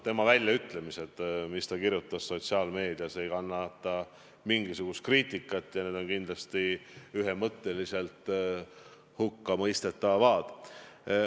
Väljaütlemised, mis ta kirjutas sotsiaalmeedias, ei kannata mingisugust kriitikat ja need on kindlasti ühemõtteliselt hukkamõistetavad.